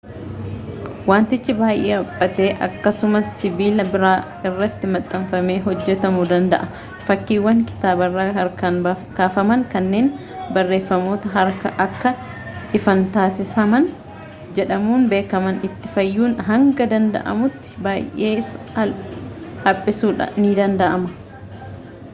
wantichi baay'ee haphatee akkasumas sibiila biraa irratti maxxanfamee hojjetamuu danda'a fakkiiwwan kitaabarraa harkaan kaafaman kanneen barreeffamoota harkaa akka ifan taasifaman jedhamuun beekaman ittiin faayuun hanga danda'amutti baay'ee haphisuun ni danda'ama